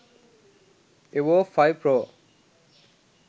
evo 5 pro